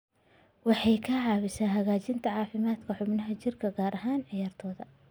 Waxay ka caawisaa hagaajinta caafimaadka xubnaha jirka, gaar ahaan ciyaartoyda.